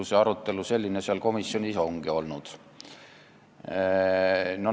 Ju see arutelu seal komisjonis ongi selline olnud.